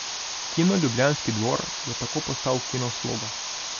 Kino Ljubljanski dvor je tako postal kino Sloga.